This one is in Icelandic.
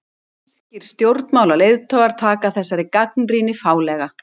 Sænskir stjórnmálaleiðtogar taka þessari gagnrýni fálega